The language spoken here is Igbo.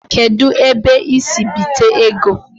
Kedu ebe I si bite ego?